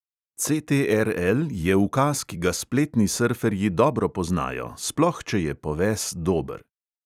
Enter je ukaz, ki ga spletni srferji dobro poznajo, sploh če je poves dober.